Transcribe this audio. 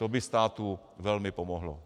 To by státu velmi pomohlo.